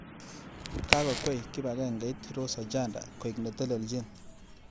Kakokwei kipakengeit Rose Ochanda koek netelejin.